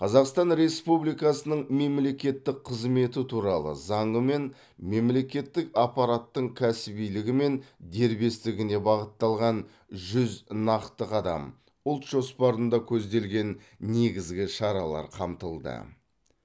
қазақстан республикасының мемлекеттік қызметі туралы заңымен мемлекеттік аппараттың кәсібилігі мен дербестігіне бағытталған жүз нақты қадам ұлт жоспарында көзделген негізгі шаралар қамтылды